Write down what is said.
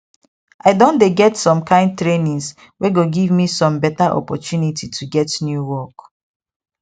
i don dey go some kind trainings wey go give me some better opportunity to get new work